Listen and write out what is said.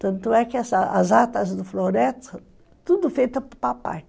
Tanto é que as atas do Floresta, tudo feita por papai.